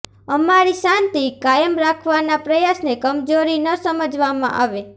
અમારી શાંતિ કાયમ રાખવાના પ્રયાસને કમજોરી ન સમજવામાં આવે